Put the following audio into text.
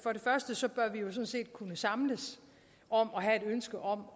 set kunne samles om at have et ønske om